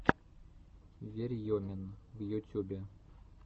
верьемин в ютюбе